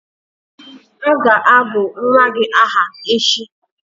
A ga-agọ nwa gị aha echi?